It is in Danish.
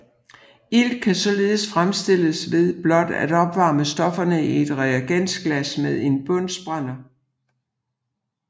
Ilt kan således fremstilles ved blot at opvarme stofferne i et reagensglas med en bunsenbrænder